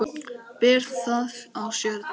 Ber það á sér delinn.